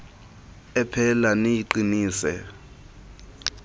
ephela niyiqi nise